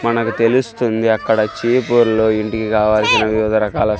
మనకు తెలుస్తుంది అక్కడ చీపుర్లో ఇంటికి కావాల్సిన వివిధ రకాల--